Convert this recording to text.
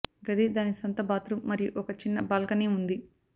గది దాని సొంత బాత్రూమ్ మరియు ఒక చిన్న బాల్కనీ ఉంది